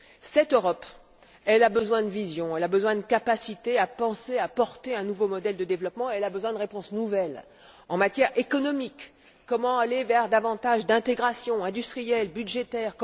Cette Europe, elle a besoin de vision, elle a besoin de capacités à penser, à porter un nouveau modèle de développement, elle a besoin de réponses nouvelles en matière économique comment aller vers davantage d'intégration industrielle, budgétaire